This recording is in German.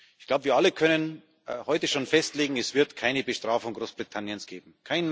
Ich glaube, wir alle können heute schon festlegen Es wird keine Bestrafung Großbritanniens geben.